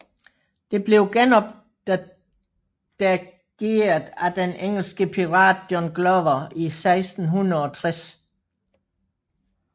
Det blev genopdageret af den engelske pirat John Glover i 1660